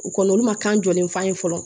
U kɔni olu ma kan jɔlen f'an ye fɔlɔ